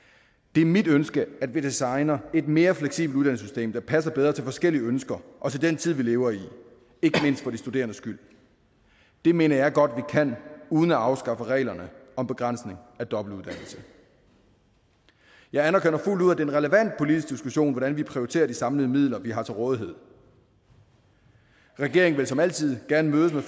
det er mit ønske at vi designer et mere fleksibelt uddannelsessystem der passer bedre til forskellige ønsker og til den tid vi lever i ikke mindst for de studerendes skyld det mener jeg godt vi kan uden at afskaffe reglerne om begrænsning af dobbeltuddannelse jeg anerkender fuldt ud at en relevant politisk diskussion hvordan vi prioriterer de samlede midler vi har til rådighed regeringen vil som altid gerne mødes med